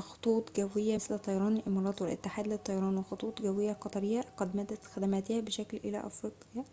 خطوط الجوية مثل طيران الإمارات والاتحاد للطيران والخطوط الجوية القطرية قد مدّت خدماتها بشكل إلى أفريقيا